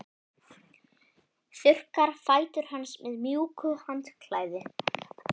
Þurrkar fætur hans með mjúku handklæði.